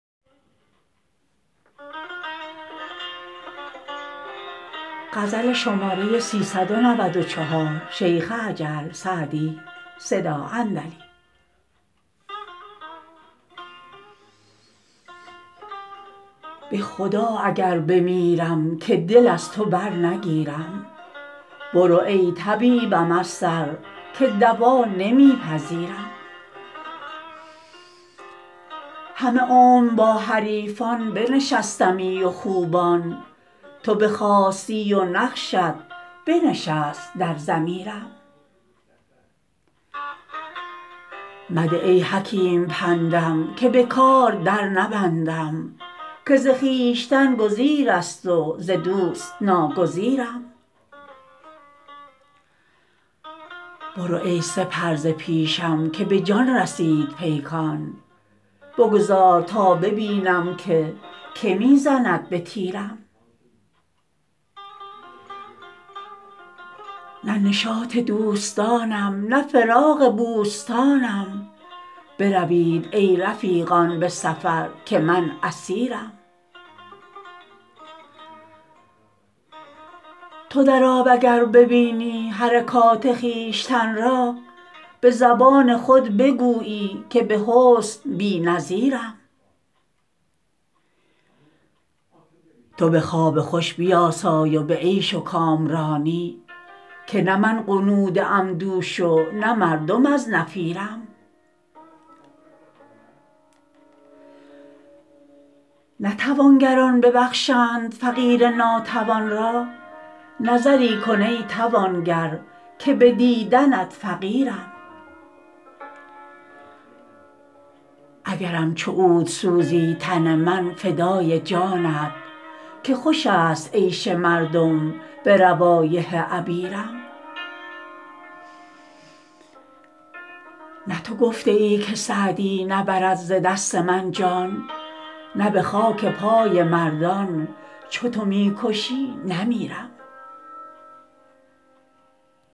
به خدا اگر بمیرم که دل از تو برنگیرم برو ای طبیبم از سر که دوا نمی پذیرم همه عمر با حریفان بنشستمی و خوبان تو بخاستی و نقشت بنشست در ضمیرم مده ای حکیم پندم که به کار در نبندم که ز خویشتن گزیر است و ز دوست ناگزیرم برو ای سپر ز پیشم که به جان رسید پیکان بگذار تا ببینم که که می زند به تیرم نه نشاط دوستانم نه فراغ بوستانم بروید ای رفیقان به سفر که من اسیرم تو در آب اگر ببینی حرکات خویشتن را به زبان خود بگویی که به حسن بی نظیرم تو به خواب خوش بیاسای و به عیش و کامرانی که نه من غنوده ام دوش و نه مردم از نفیرم نه توانگران ببخشند فقیر ناتوان را نظری کن ای توانگر که به دیدنت فقیرم اگرم چو عود سوزی تن من فدای جانت که خوش است عیش مردم به روایح عبیرم نه تو گفته ای که سعدی نبرد ز دست من جان نه به خاک پای مردان چو تو می کشی نمیرم